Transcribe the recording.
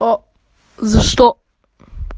а за что